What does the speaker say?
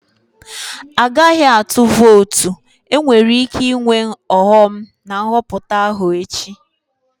Agaghị atụ votu, enwere ike ịnwe ọghọm na Nhọpụta ahụ echi